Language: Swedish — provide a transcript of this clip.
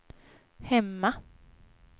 hemma